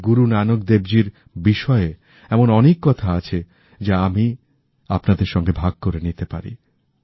শ্রী গুরু নানক দেবজীর বিষয়ে এমন অনেক কথা আছে যা আমি আপনাদের সঙ্গে ভাগ করে নিতে পারি